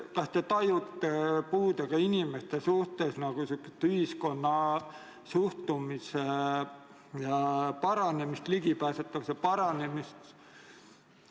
Kas te tajute puudega inimeste suhtes nagu ühiskonna suhtumise paranemist, ligipääsetavuse paranemist?